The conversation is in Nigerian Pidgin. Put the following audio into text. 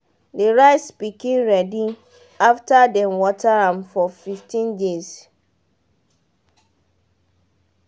de rice pikin ready after dem water am for fifteen days